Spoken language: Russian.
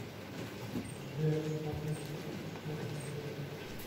сбер смотреть фильм исчезнувшие